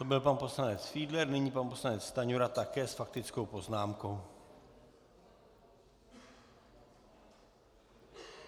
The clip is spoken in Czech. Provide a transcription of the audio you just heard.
To byl pan poslanec Fiedler, nyní pan poslanec Stanjura také s faktickou poznámkou.